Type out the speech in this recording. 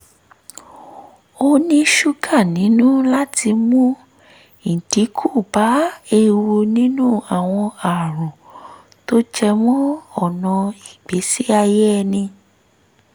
ó ní ṣúgà nínú láti mú ìdínkù bá ewu níní àwọn àrùn tó jẹ mọ́ ọnà ìgbésí ayé ẹni